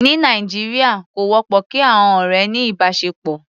Ní Nàìjíríà, kò wọ́pọ̀ kí àọn ọ̀rẹ́ ní ìbáṣepọ̀.